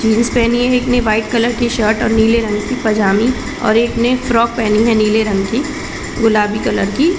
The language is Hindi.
जीन्स पहनी एक ने वाइट कलर की सर्ट और नीले रंग की पजामी और एक ने फ्रॉक पहनी है नीले रंग की गुलाबी कलर की--